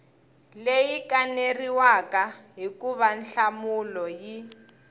leyi kaneriwaka hikuva nhlamulo yi